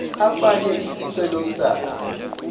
afake isicelo sakhe